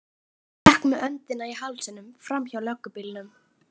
Gekk með öndina í hálsinum framhjá löggubílnum.